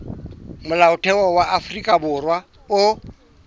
molaotheo wa afrika borwa o